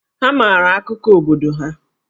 Ha maara akụkọ obodo ha.